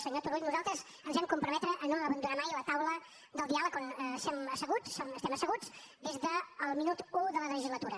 senyor turull nosaltres ens vam comprometre a no abandonar mai la taula del diàleg on estem asseguts des del minut u de la legislatura